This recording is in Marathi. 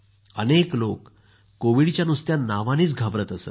अनेक लोक कोविडच्या नावानेच घाबरत असत